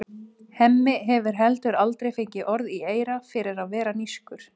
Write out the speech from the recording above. Hemmi hefur heldur aldrei fengið orð í eyra fyrir að vera nískur.